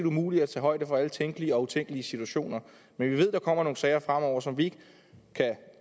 umuligt at tage højde for alle tænkelige og utænkelige situationer men vi ved at der kommer nogle sager fremover som vi ikke